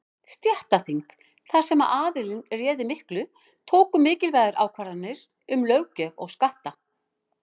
Stéttaþing, þar sem aðallinn réði miklu, tóku mikilvægar ákvarðanir um löggjöf og skatta.